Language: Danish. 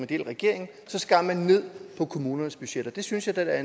del af regeringen skar man ned på kommunernes budgetter det synes jeg da